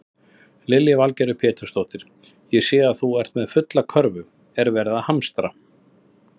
Lillý Valgerður Pétursdóttir: Ég sé að þú ert með fulla körfu, er verið að hamstra?